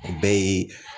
O bɛɛ ye